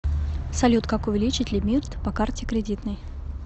салют как увеличить лимит по карте кредитной